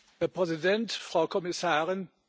Herr Präsident, Frau Kommissarin!